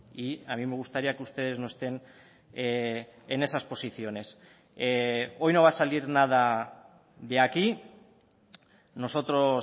y a mí me gustaría que ustedes no estén en esas posiciones hoy no va a salir nada de aquí nosotros